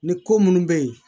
Ni ko munnu bɛ yen